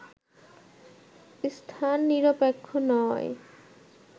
স্থান নিরপেক্ষ নয়